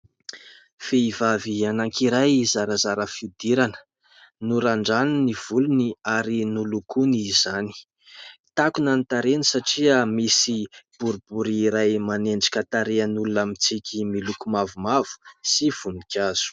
Vehivavy anakiray zarazara fihodirana. Norandraniny ny volony ary nolokony izany. Takona ny tarehiny satria misy boribory iray manendrika tarehin'olona mitsiky, miloko mavomavo sy voninkazo.